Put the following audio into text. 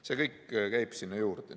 See kõik käib sinna juurde.